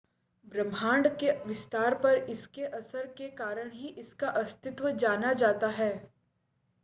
ब्रह्मांड के विस्तार पर इसके असर के कारण ही इसका अस्तित्व जाना जाता है